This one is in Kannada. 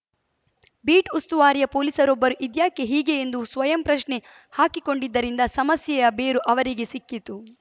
ಬೀಟ್‌ ಉಸ್ತುವಾರಿಯ ಪೊಲೀಸರೊಬ್ಬರು ಇದ್ಯಾಕೆ ಹೀಗೆ ಎಂದು ಸ್ವಯಂ ಪ್ರಶ್ನೆ ಹಾಕಿಕೊಂಡದ್ದರಿಂದ ಸಮಸ್ಯೆಯ ಬೇರು ಅವರಿಗೆ ಸಿಕ್ಕಿತು